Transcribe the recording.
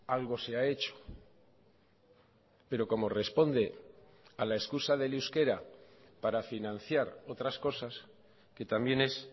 algo se ha hecho pero como responde a la excusa del euskera para financiar otras cosas que también es